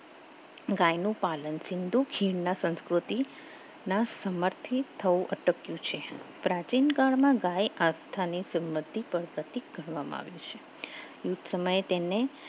ગાયનો પાલન સિંધુ ખીણના સંસ્કૃતિના સમર્થિત થવું અટક્યું છે પ્રાચીન કાળમાં ગાય આસ્થાની સંમતિ પર પ્રતિક કરવામાં આવ્યું છે સમય તેને